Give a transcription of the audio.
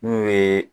N'u ye